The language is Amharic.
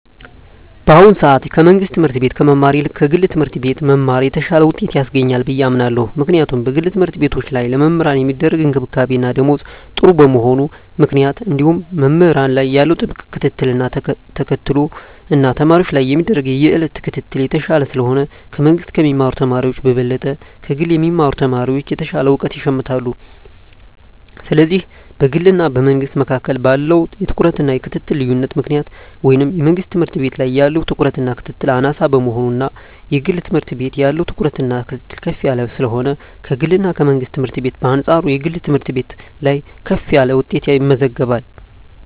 በአሁኑ ሰአት ከመንግስት ትምህርት ቤት ከመማር ይልቅ ከግለሰብ ትምህርት ቤት መማር የተሻለ ውጤት ያስገኛል ብየ አምናለው ምክንያቱም በግል ተምህርትቤቶች ላይ ለመምህራን ሚደረግ እንክብካቤና ደሞዝ ጥሩ በመሆኑ ምክንያት እንዲሁም መምህራን ላይ ያለው ጥብቅ ክትትልን ተከትሎ እና ተማሪወች ላይም የሚደረግ የየእለት ክትትል የተሻለ ስለሆነ ከመንግስ ከሚማሩ ተማሪወች በበለጠ ከግል የሚማሩ ተማሪወች የተሻለ እውቀት ይሸምታሉ ስለዚህ በግልና በመንግስ መካከል ባለው የትኩረትና የክትትል ልዮነት ምክንያት ወይም የመንግስት ትምህርት ቤት ላይ ያለው ትኩረትና ክትትል አናሳ በመሆኑና የግል ትምህርት ቤት ያለው ትኩረትና ክትትል ከፍ ያለ ስለሆነ ከግልና ከመንግስት ትምህርት ቤት በአንጻሩ የግል ትምህርት ቤት ላይ ከፍ ያለ ውጤት ይመዘገባል።